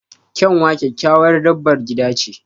Kyanwa kyakkyawar dabar gida ce